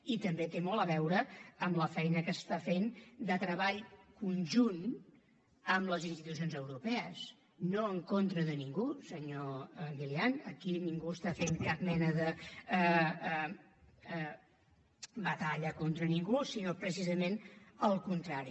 i també té molt a veure amb la feina que es fa de treball conjunt amb les institucions europees no en contra de ningú senyor milián aquí ningú fa cap mena de batalla contra ningú sinó precisament el contrari